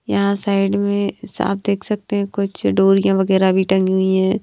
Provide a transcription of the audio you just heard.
यहां साइड में साफ देख सकते हैं कुछ डोरियाँ वगैरह भी टंगी हुई हैं।